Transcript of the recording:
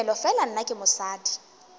tomele fela nna ke mosadi